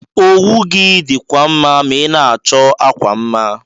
Owu gi dikwa mma ma ina achọ akwa mma.